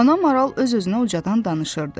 Ana maral öz-özünə ucadan danışırdı.